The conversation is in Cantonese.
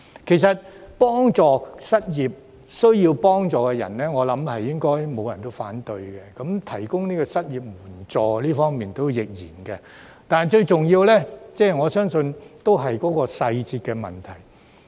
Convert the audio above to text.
對於幫助失業及有需要人士，我相信不會有人反對，在提供失業援助方面亦然，我相信最重要是細節的問題。